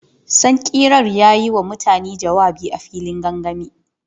Sankirar ya yi wa mutane jawabi a filin gangami.